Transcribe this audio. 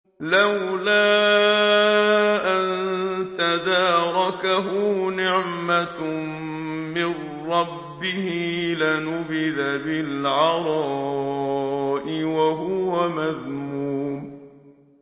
لَّوْلَا أَن تَدَارَكَهُ نِعْمَةٌ مِّن رَّبِّهِ لَنُبِذَ بِالْعَرَاءِ وَهُوَ مَذْمُومٌ